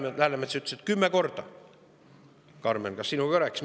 Härra Läänemets ütles, et kümme korda – Karmen, kas me sinuga ka sellest rääkisime?